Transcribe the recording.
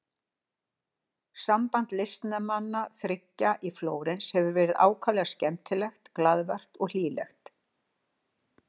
Samband listnemanna þriggja í Flórens hefur verið ákaflega skemmtilegt, glaðvært og hlýlegt.